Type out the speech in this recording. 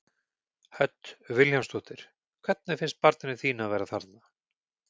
Hödd Vilhjálmsdóttir: Hvernig finnst barninu þínu að vera þarna?